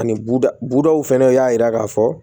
Ani buda budaw fɛnɛ y'a yira k'a fɔ